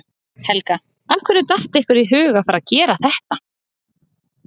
Helga: Af hverju datt ykkur í hug að fara að gera þetta?